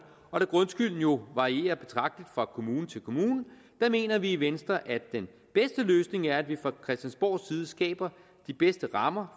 og da grundskylden jo varierer betragtelig fra kommune til kommune mener vi i venstre at den bedste løsning er at vi fra christiansborgs side skaber de bedste rammer